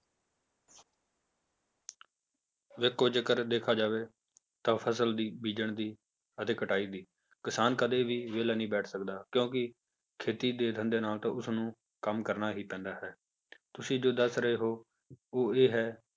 ਵੇਖੋ ਜੇਕਰ ਦੇਖਿਆ ਜਾਵੇ ਤਾਂ ਫਸਲ ਦੀ ਬੀਜਣ ਦੀ ਅਤੇ ਕਟਾਈ ਦੀ ਕਿਸਾਨ ਕਦੇ ਵੀ ਵਿਹਲਾ ਨੀ ਬੈਠ ਸਕਦਾ ਕਿਉਂਕਿ ਖੇਤੀ ਦੇ ਧੰਦੇ ਨਾਲ ਤਾਂ ਉਸਨੂੰ ਕੰਮ ਕਰਨਾ ਹੀ ਪੈਂਦਾ ਹੈ ਤੁਸੀਂ ਜੋ ਦੱਸ ਰਹੇ ਹੋ ਉਹ ਇਹ ਹੈ